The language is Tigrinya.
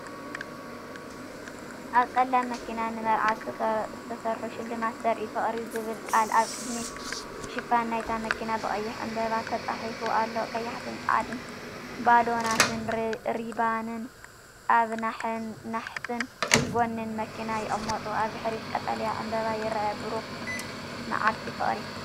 ኣብ ጸላም መኪና ንመርዓ ዝተሰርሑ ሽልማት ዘርኢ፣ "ፍቕሪ" ዝብል ቃል ኣብ ቅድሚት ሽፋን ናይታ መኪና ብቐይሕ ዕምባባታት ተጻሒፉ ኣሎ። ቀያሕትን ጻዕዳን ባሎናትን ሪባንን ኣብ ናሕስን ጎኒን መኪና ይቕመጡ። ኣብ ድሕሪት ቀጠልያ ዕምበባ ይርአ። ብሩኽ መዓልቲ ፍቕሪ!